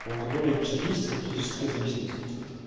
у алкоголя и психическая и физическая зависимость